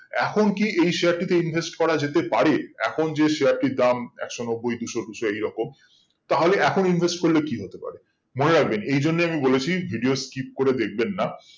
এখন কি এই share টিতে invest করা যেতে পারে এখন যে share টির দাম একশো নব্বই দুশো দুশো এই রকম তাহলে এখন invest করলে কি হতে পারে মনে রাখবেন এই জন্যে আমি বলেছি video skip করে দেখবেন না